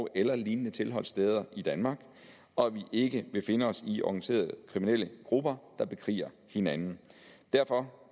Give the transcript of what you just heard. eller lignende tilholdssteder i danmark og at vi ikke vil finde os i organiserede kriminelle grupper der bekriger hinanden derfor